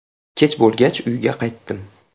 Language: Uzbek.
Kech bo‘lgach uyga qaytdim.